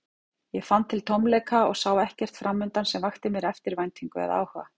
Ég fann til tómleika og sá ekkert framundan sem vakti mér eftirvæntingu eða áhuga.